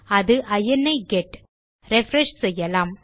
அது இனி get refresh செய்யலாம்